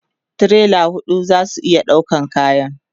tirela huɗu zasu iya ɗaukan kayan